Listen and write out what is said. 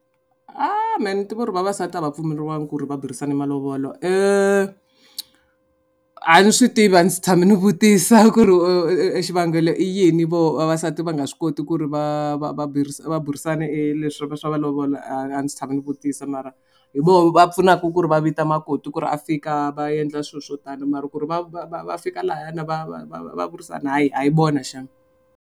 A me ni tiva ku vavasati a va pfumeleliwangi ku ri va burisana hi malovolo a ni swi tivi a ndzi tshame ndzi vutisa ku ri xivangelo i yini vo vavasati va nga swi koti ku ri va va va burisa va burisana e leswi va swa malovola a ndzi se tshama ndzi vutisa mara hi voho va pfunaka ku ri va vita makoti ku ri a fika va endla swilo swo tani mara ku ri va va va va fika lahayana va va va va burisana hayi a hi vona shame.